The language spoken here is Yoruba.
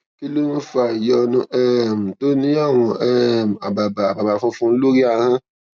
kí ló ń fa ìyọnu um tó ní àwọn um àbàbà àbàbà funfun lórí ahón